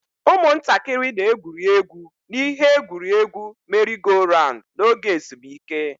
Ụmụntakịrị na-egwuri egwu n'ihe egwuriegwu merry-go-round n'oge ezumike.